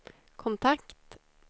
kontakt